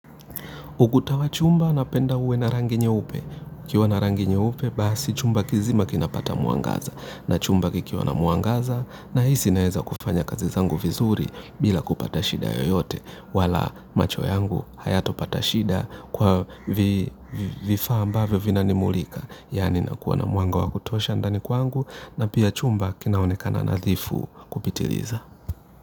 Uguta wa chumba napenda uwe na rangi nyeupe. Ikiwa na rangi nyeupe basi chumba kizima kinapata muangaza na chumba kikiwa na muangaza na hizi naeza kufanya kazi zangu vizuri bila kupata shida yoyote wala macho yangu hayata pata shida kwa vifaa ambavyo vinanimulika. Yani nakuwa na muanga wa kutosha ndani kwangu na pia chumba kinaonekana nadhifu kupitiliza.